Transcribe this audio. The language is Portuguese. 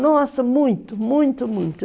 Nossa, muito, muito, muito.